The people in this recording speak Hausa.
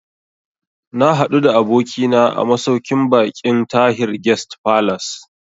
Na haɗu da abokina a masauƙin baƙin Tahir Guest Falace